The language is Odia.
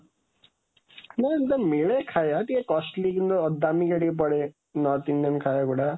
ନାଁ, ମିଳେ ଖାଇବା, ଟିକେ costly ଦାମିକା ଟିକେ ପଡ଼େ, north Indian ଖାଇବା ଗୁଡ଼ା।